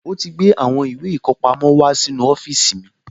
Ó ti gbé àwọn ìwé ìkọpamọ́ wá sínú ọ́fíìsì mi